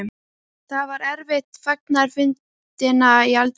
Það var eftir fagnaðarfundina í eldhúsinu.